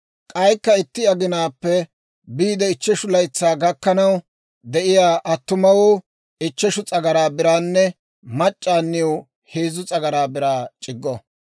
K'aykka itti aginaappe biide ichcheshu laytsaa gakkanaw de'iyaa attumawoo ichcheshu s'agaraa biraanne mac'c'aaniw heezzu s'agaraa biraa c'iggo.